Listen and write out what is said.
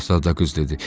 Şahzadə qız dedi.